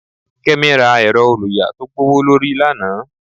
kemi ra erò-olùyà to gbówólorí lana